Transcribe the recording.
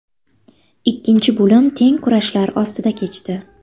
Ikkinchi bo‘lim teng kurashlar ostida kechdi.